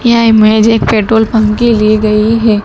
यह इमेज एक petrol pump की ली गई है।